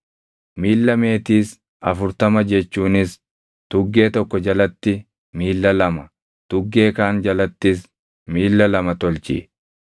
miilla meetiis afurtama jechuunis tuggee tokko jalatti miilla lama, tuggee kaan jalattis miilla lama tolchi.